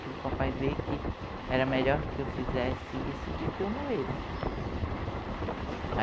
Fiz o papai ver que era melhor que eu fizesse isso do que eu morresse.